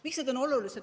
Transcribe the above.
Miks need on olulised?